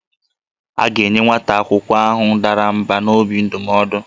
A ga-enye nwa akwụkwọ ahụ dara mbà n'obi ndụmọdụ